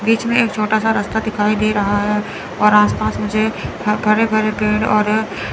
बीच में एक छोटा सा रास्ता दिखाई दे रहा है और आस पास मुझे हरे भरे पेड़ और--